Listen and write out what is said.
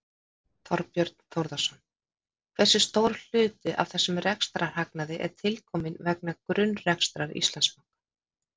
Þorbjörn Þórðarson: Hversu stór hluti af þessum rekstrarhagnaði er tilkominn vegna grunnrekstrar Íslandsbanka?